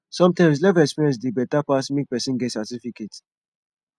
sometimes life experience dey better pass make person get certificate